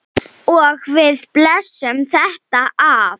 Og við blésum þetta af.